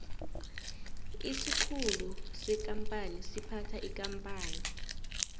isikhulu sekampani siphatha ikampani